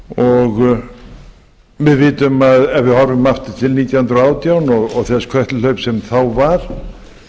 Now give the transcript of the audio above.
og við vitum ef við horfum aftur til nítján hundruð og átján og þess kötluhlaups sem þá var